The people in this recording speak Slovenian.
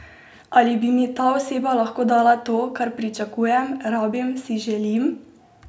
Ali bi mi ta oseba lahko dala to, kar pričakujem, rabim, si želim?